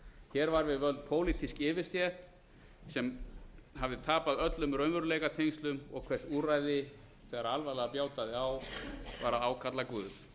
hér var við völd pólitísk yfirstétt sem hafði tapað öllum raunveruleikatengslum og hvers úrræði þegar alvarlega bjátaði á var að ákalla guð